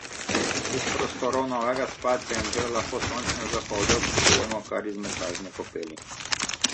Iz prostorov novega spa centra lahko sončne zahode občudujemo kar iz masažne kopeli.